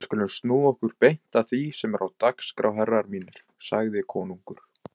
Við skulum snúa okkur beint að því sem er á dagskrá herrar mínir, sagði konungur.